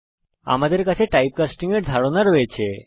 এখন আমাদের কাছে টাইপকাস্টিং এর ধারণা রয়েছে